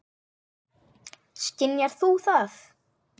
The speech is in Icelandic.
Skynjar þú það?